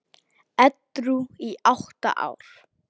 Edrú í átta ár!